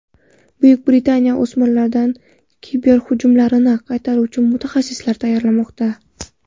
Buyuk Britaniya o‘smirlardan kiberhujumlarni qaytaruvchi mutaxassislar tayyorlamoqda.